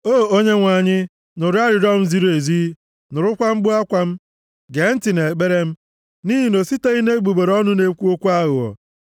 O Onyenwe anyị, nụrụ arịrịọ m ziri ezi, nụrụkwa mkpu akwa m. Gee ntị nʼekpere m nʼihi na o siteghị nʼegbugbere ọnụ na-ekwu okwu aghụghọ.